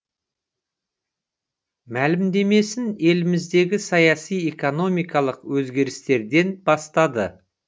мәлімдемесін еліміздегі саяси экономикалық өзгерістерден бастады